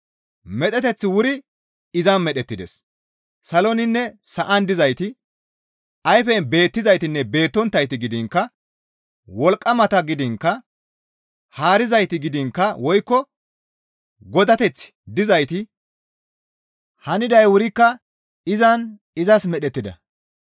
Medheteththi wuri izan medhettides. Saloninne sa7an dizayti, ayfen beettizaytinne beettonttayti gidiinkka, wolqqamata gidiinkka, haarizayti gidiinkka woykko godateththi dizayti haniday wurikka izan izas medhettida.